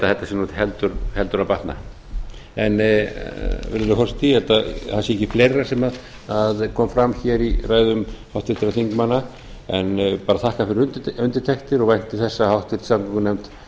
þetta sé heldur að batna virðulegi forseti ég held að það sé ekki fleira sem kom fram í ræðum háttvirtra þingmanna en þakka fyrir undirtektir og vænti þess að háttvirtur samgöngunefnd